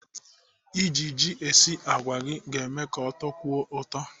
Iji ji esi àgwà gị ga-eme ka ọ tọkwuo ụtọ.